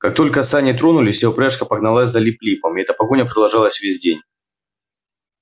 как только сани тронулись вся упряжка погналась за лип липом и эта погоня продолжалась весь день